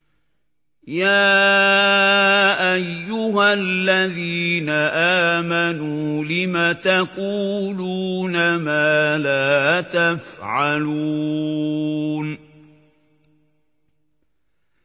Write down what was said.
يَا أَيُّهَا الَّذِينَ آمَنُوا لِمَ تَقُولُونَ مَا لَا تَفْعَلُونَ